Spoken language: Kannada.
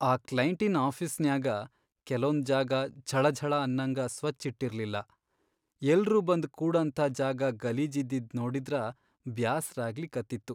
ಆ ಕ್ಲೈಂಟಿನ್ ಆಫೀಸ್ನ್ಯಾಗ ಕೆಲೊಂದ್ ಜಾಗ ಝಳಾಝಳಾ ಅನ್ನಂಗ ಸ್ವಚ್ಛ್ ಇಟ್ಟಿರ್ಲಿಲ್ಲಾ, ಎಲ್ರೂ ಬಂದ್ ಕೂಡಂಥಾ ಜಾಗ ಗಲೀಜಿದ್ದಿದ್ ನೋಡಿದ್ರ ಬ್ಯಾಸರಾಗ್ಲಿಕತ್ತಿತ್ತು.